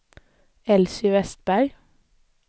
Elsy Westberg